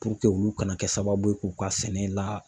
olu kana kɛ sababu ye k'u ka sɛnɛ la.